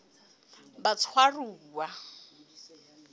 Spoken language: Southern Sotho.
batshwaruwa